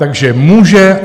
Takže může.